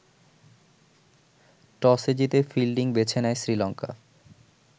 টসে জিতে ফিল্ডিং বেছে নেয় শ্রীলঙ্কা।